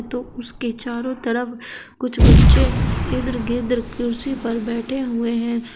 तो उसके चारों तरफ कुछ बच्चे इधर उधर कुर्सी पर बैठे हुए हैं।